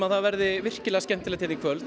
það veðri virkilega skemmtilegt hérna í kvöld